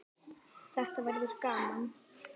Þetta verður gaman